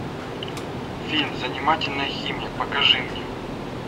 фильм занимательная химия покажи мне